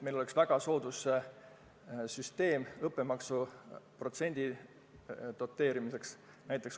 Meil oleks väga soodus süsteem õppemaksu protsendi doteerimiseks.